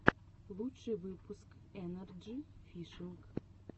лучший выпуск энарджи фишинг